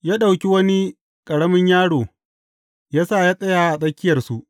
Ya ɗauki wani ƙaramin yaro ya sa yă tsaya a tsakiyarsu.